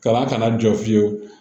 Ka na kana jɔ fiyewu